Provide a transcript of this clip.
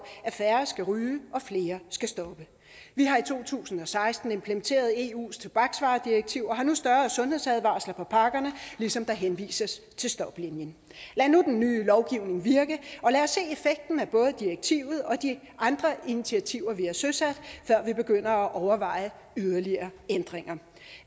at færre skal ryge og at flere skal stoppe vi har i to tusind og seksten implementeret eus tobaksvaredirektiv og har nu større sundhedsadvarsler på pakkerne ligesom der henvises til stoplinien lad nu den nye lovgivning virke og lad os se effekten af både direktivet og de andre initiativer vi har søsat før vi begynder at overveje yderligere ændringer